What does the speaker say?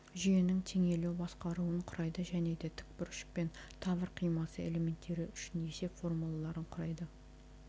жүйенің теңелу басқаруын құрайды және де тікбұрыш пен тавр қимасы элементтері үшін есеп формулаларын құрайды